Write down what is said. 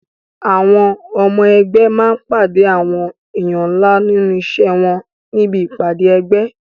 Àwọn ọmọ ẹgbé máa pàdé àwọn èèyàn ńlá nínú iṣẹ́ wọn níbi ìpàdé ẹgbẹ́.